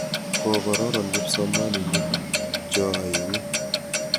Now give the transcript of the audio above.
Kororon kipsomaninik cho aeng'u.